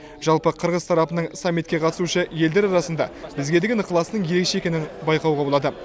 жалпы қырғыз тарапының саммитке қатысушы елдер арасында бізге деген ықыласының ерекше екенін байқауға болады